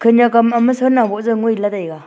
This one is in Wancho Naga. khanyak am hamma sanah ngoh ja ngoi la taega.